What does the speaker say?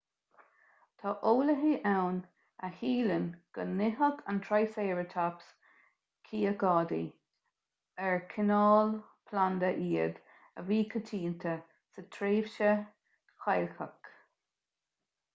tá eolaithe ann a shíleann go n-itheadh an triceratops cíocáidí ar cineál planda iad a bhí coitianta sa tréimhse chailceach